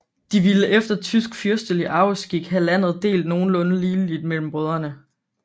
De ville efter tysk fyrstelig arveskik have landet delt nogenlunde ligeligt mellem brødrene